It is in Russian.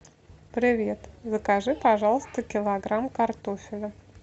привет закажи пожалуйста килограмм картофеля